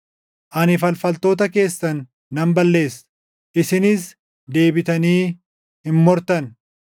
Ani falfaltoota keessan nan balleessa; isinis deebitanii hin mortan.